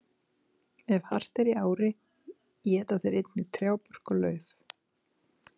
Ef hart er í ári éta þeir einnig trjábörk og lauf.